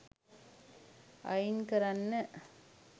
අයින් කරන්න.